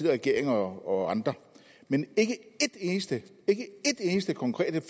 regering og andre men ikke et eneste et eneste konkret